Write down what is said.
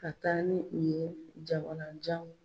Ka taa ni bin ye jamanajan